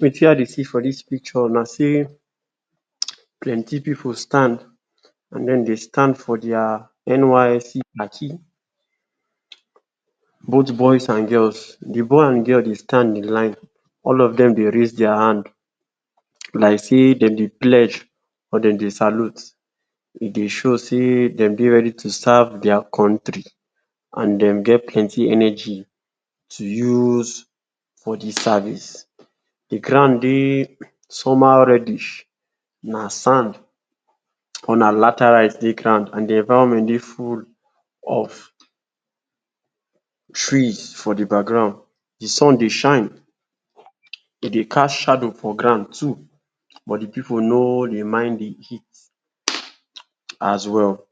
Wetin I dey see for this picture na sey plenty pipu stand and den dey stand for their NYSC khaki both boys and girls the boy and girl dey stand in line, All of dem dey raise their hand like sey dem dey pledge or dem dey salute e dey show sey dem dey ready to serve their country and dem get plenty energy to use for the service The ground dey somehow reddish na sand or na latter rise dey ground and the environment full of trees for de background the sun dey shine e dey cast shadow for ground too but the pipu no dey mind the heat as well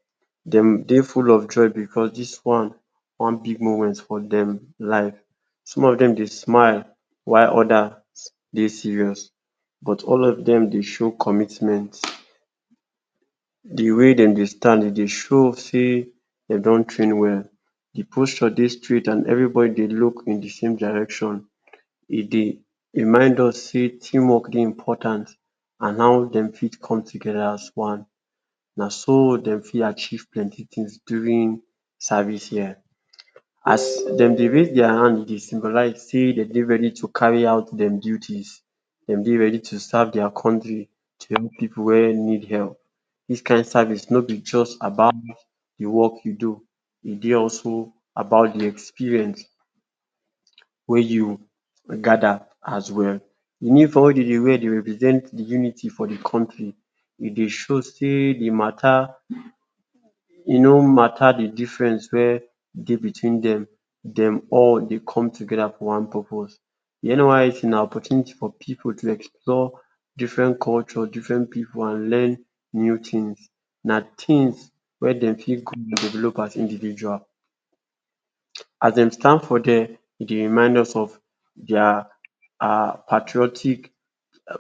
dem dey full of joy because this one na one big moment for dem life some of dem dey smile while others dey serious but all of dem dey show commitment. The wey dem dey stand e dey show sey dem don train well the posture dey straight and everybody dey look in the same direction e dey remind us sey teamwork dey important and how dem fit come together as one na so dem fit achieve plenty things during service year, as dem dey raise their hand e dey symbolize sey dem dey ready to carry out dem duties dem dey ready to serve their country join pipu wey need help, this kind service no be just about de work you do e dey also about the experience wey you gather as well the uniform wey dem dey wear dey represent the unity for the country e dey show sey the matter e no matter the difference wey dey between dem, dem all dey come together for one purpose, De NYSC na opportunity for pipu to explore different culture different people and learn new things, na things wen dem fit do and develop as individuals as them stand for their e dey remind us of their patriotic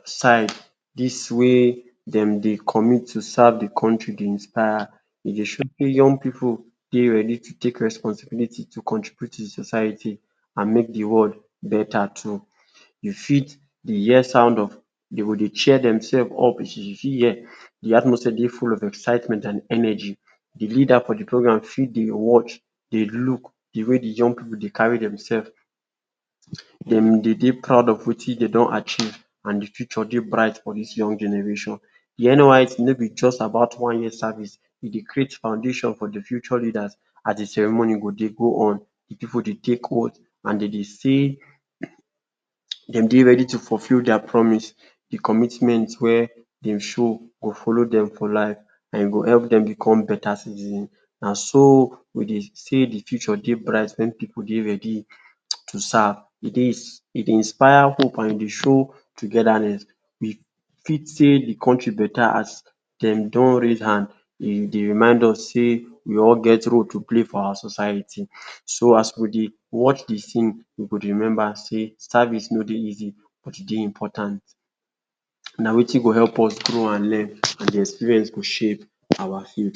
side dis wey dem dey commit to serve the country dey inspire e dey show young pipu dey ready to take responsibility to contribute to the society and make the world better too you fit dey hear sound of dey go dey cheer themselves up you fit hear the atmosphere dey full of excitement and energy the leader for the program fit dey watch dey look the way de young pipu dey carry themselves dem de dey proud of wetin dem don achieve and the future dey bright for this young generation. de NYSC no be just about one year service e dey create foundation for the future leaders as de ceremony go dey go on the pipu dey take oath and dem dey say dem dey ready to fulfill their promise, the commitment wey dem show go follow dem for life and e go help dem become better citizens na so we dey say the future dey bright wen pipu dey ready to serve e dey inspire hope and e dey show togetherness we fit say the country better as dey don raise hand e dey remind us sey we all get role to play for our society so as we dey watch the thing we go dey remember sey service no dey easy but e dey important na wetin go help us grow and learn and the experience go shape our future.